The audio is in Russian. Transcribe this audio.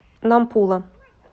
нампула